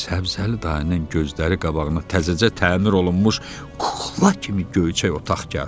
Səbzəli dayının gözləri qabağına təzəcə təmir olunmuş kukla kimi göyçək otaq gəldi.